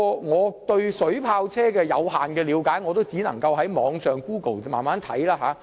我對水炮車的了解有限，只能上網用 Google 搜尋相關資料。